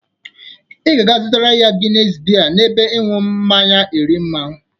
Ị ga-aga azụtara ya Gines bie n'ebe ịṅụ mmanya Erimma.